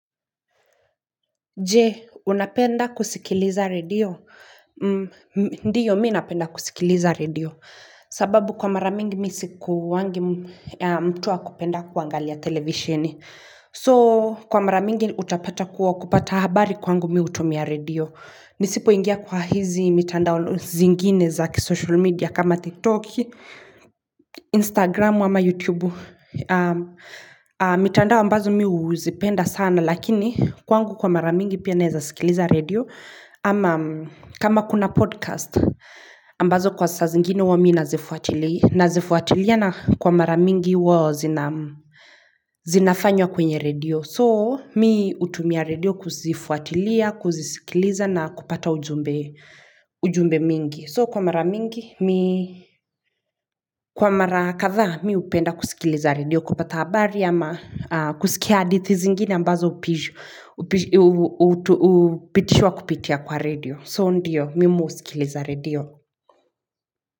Jee, unapenda kusikiliza redio? Ndiyo, mi napenda kusikiliza redio. Sababu kwa mara mingi mi sikuwangi mtu wa kupenda kuangalia televisheni. So, kwa mara mingi utapata kuwa kupata habari kwangu mi hutumia redio. Nisipoingia kwa hizi mitandao zingine za kisocial media kama TikTok, Instagram, ama YouTube. Lakini kwangu kwa mara mingi pia naeza sikiliza redio ama kama kuna podcast ambazo kwa saa zingine huwa mi nazifuatilia nazifuatili a na kwa mara mingi wao zinafanywa kwenye redio. So mi hutumia redio kuzifuatilia, kuzisikiliza na kupata ujumbe mingi. So kwa mara mingi, kwa mara kadhaa, mi hupenda kusikiliza redio, kupata habari ama kusikia hadithi zingine ambazo hupitishwa kupitia kwa redio. So ndiyo, mimi mimi husikiliza redio.